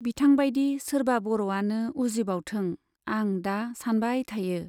बिथां बाइदि सोरबा बर' आनो उजिबावथों, आं दा सानबाय थायो।